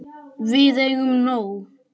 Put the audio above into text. Við eigum nóg.